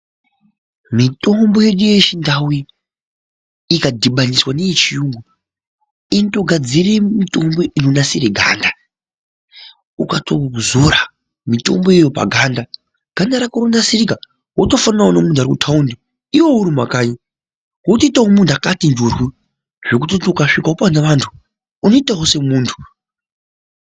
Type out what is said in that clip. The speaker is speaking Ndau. Mitombo yedu yechindau iyi ikadhibaniswa neyechiyungu inotogadzire mitombo inonasire ganda. Ukatoizora mitomboyo paganda, ganda rako rinotonasirika wotofananawo nemunhu ari kumathawundi iwewe uri mumakanyi. Wotoitawo semunhu wakati njorwo zvekutoti ukasvikawo pane antu unotoitawo semunhu.